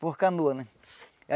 Por canoa, né?